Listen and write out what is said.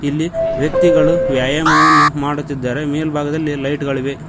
ಇಲ್ಲಿ ವ್ಯಕ್ತಿಗಳು ವ್ಯಾಯಾಮವನ್ನು ಮಾಡುತ್ತಿದ್ದಾರೆ ಮೇಲ್ಭಾಗದಲ್ಲಿ ಲೈಟ್ ಗಳಿವೆ.